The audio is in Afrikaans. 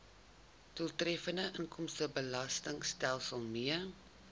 doeltreffende inkomstebelastingstelsel mee